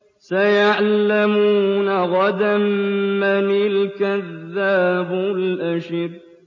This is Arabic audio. سَيَعْلَمُونَ غَدًا مَّنِ الْكَذَّابُ الْأَشِرُ